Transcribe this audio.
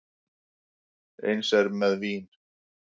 Eins er með vín.